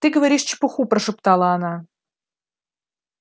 ты говоришь чепуху прошептала она